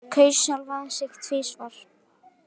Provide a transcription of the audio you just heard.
Kaus sjálfan sig tvisvar